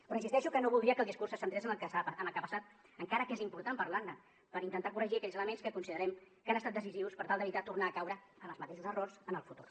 però insisteixo que no voldria que el discurs se centrés en el que ha passat encara que és important parlar ne per intentar corregir aquells elements que considerem que han estat decisius per tal d’evitar tornar a caure en els mateixos errors en el futur